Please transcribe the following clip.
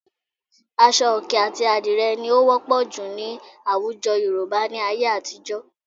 Aṣọ òkè àti àdìrẹ ni ó wọ́pọ̀ jù ní àwùjọ Yorùbá ní ayé àtijọ́